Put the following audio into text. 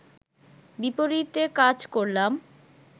বিপরীতে কাজ করলাম